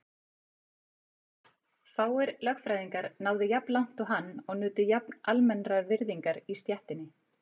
Fáir lögfræðingar náðu jafn langt og hann og nutu jafn almennrar virðingar í stéttinni.